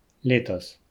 Letos.